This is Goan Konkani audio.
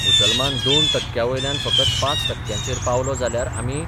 मुसलमान दोन टक्क्यांवयल्यान फकत पांच टक्क्यांचेर पावलो जाल्यार आमी